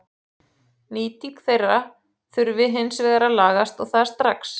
Nýting þeirra þurfi hins vegar að lagast og það strax.